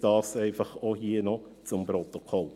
Dies einfach noch zuhanden des Protokolls.